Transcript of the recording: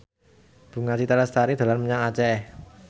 Bunga Citra Lestari dolan menyang Aceh